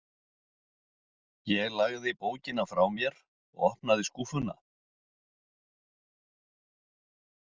Ég lagði bókina frá mér og opnaði skúffuna.